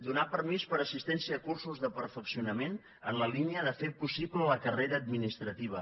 donar permís per assistència a cursos de perfeccionament en la línia de fer possible la carrera administrativa